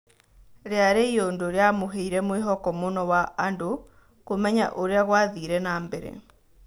Rĩarĩ iũndũ rĩamũheire mwĩhoko mũno wa andũ kũmenya ũrĩa gũathire nambere.